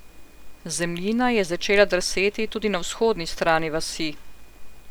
Zemljina je začela drseti tudi na vzhodni strani vasi.